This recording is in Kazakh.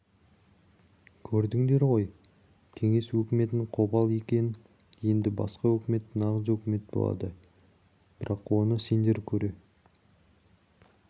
көрдіңдер ғой кеңес өкіметінің қопал екенін енді басқа өкімет нағыз өкімет болады бірақ оны сендер көре